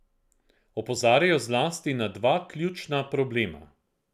Opozarjajo zlasti na dva ključna problema.